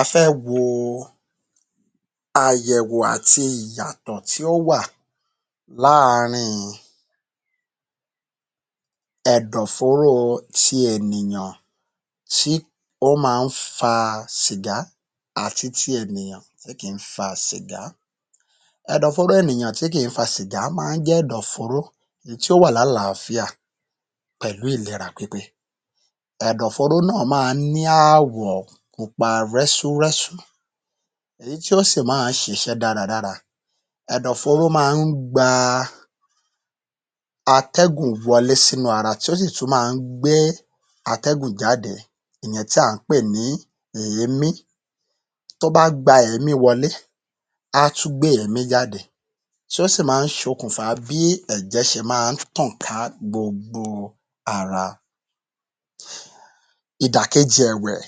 A fẹ́ wo àyẹ̀wò àti ìyàtọ̀ tí ó wà láàrín-in ẹ̀dọ̀fóro ti ènìyàn tí ó ma ń fa sìgá àti ti ènìyàn tí kì í fa sìgá. Ẹ̀dọ̀fóró ènìyàn tí kì í fa sìgá ma ń jẹ́ ẹ̀dọ̀fóró tí ó wà lálàáfíà pẹ̀lú ìlera pípé. Ẹ̀dọ̀fóró náà máa ń ní àwọ̀ pupa rẹ́súrẹ́sú èyí tí ó sì ma ń ṣiṣẹ́ dáradára, ẹ̀dọ̀fóró ma ń gba atẹ́gún wọlé sínú ara tí ó sì tún ma ń gbé atẹ́gùn jáde ìyẹn tí à ń pè ní èémí. Tó bá gba èémí wọlé á tún gbé èémí jáde tí ó sì má ń ṣokùnfà bí ẹ̀jẹ̀ ṣe máa ń tàn ká gbogbo ara. Ìdàkejì ẹ̀wẹ̀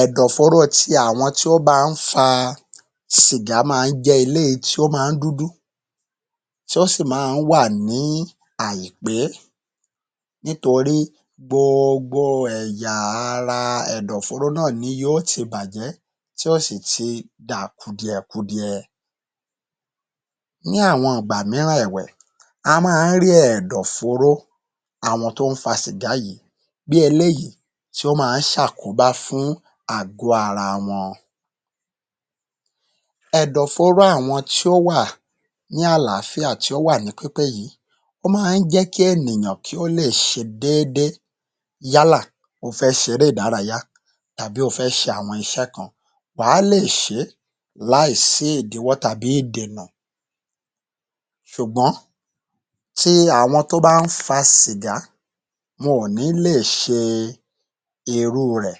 ẹ̀dọ̀fóró ti àwọn tí ó ma ń fa sìgá ma ń jẹ́ eléyí tí ó ma ń dúdú tí ó sì ma ń wà ní àìpé nítorí gbogbo ẹ̀yà ara ẹ̀dọ̀fóró náà ni yó yi bàjẹ́ tí ó sì ti dà kùdìẹkudiẹ. Ní àwọn ìgbà míràn ẹ̀wẹ̀ a máa ń rí ẹ̀dọ̀fóró àwọn tó ń fa sìgá yìí bí eléyìí tí ó máa ń ṣàkóbá fún àgó ara wọn. Ẹ̀dọ̀fóró àwọn tí ó wà ní àláfíà tí ó wà ní pípé yìí ó máa ń jẹ́ kí ènìyàn kí ó lè ṣe déédé yálà ó fẹ ṣe eré ìdárayá àbí ó fẹ́ ṣe àwọn iṣẹ́ kan, wà á lè ṣe é láì sí ìdíwọ́ tàbí ìdènà ṣùgbọ́n ti àwọn tó bá ń fa sìgá wọn ò ní lè ṣe irú u rẹ̀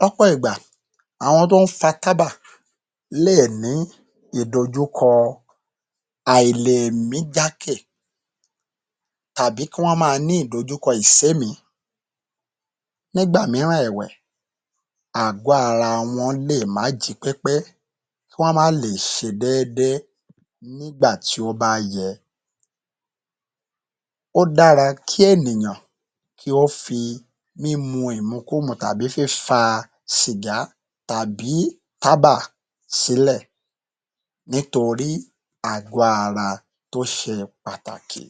lọ́pọ̀ ìgbà àwọn tó ń fa tábà lè ní ìdojúkọ àìlèmí jákè tàbí kí wọ́n máa ní ìdojúkọ ìsémìí. Nígbà míràn ẹ̀wẹ̀ àgó ara wọn lè má jí pépé kí wọ́n má le è ṣe déédé nígbà tí ó bá yẹ. Ó dára kí ènìyàn kí ó fi ìmukúmu tàbí fífa sìgátàbí tábà sílẹ̀ nítorí àgó ara tó ṣe pàtàkì.